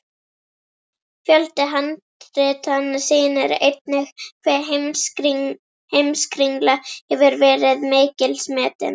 Fjöldi handritanna sýnir einnig hve Heimskringla hefur verið mikils metin.